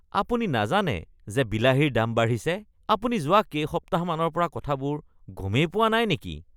আপুনি নাজানে যে বিলাহীৰ দাম বাঢ়িছে? আপুনি যোৱা কেইসপ্তাহমানৰ পৰা কথাবোৰ গমেই পোৱা নাই নেকি?